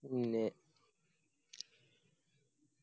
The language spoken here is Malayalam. ഇല്ലേ